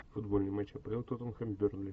футбольный матч апл тоттенхэм бернли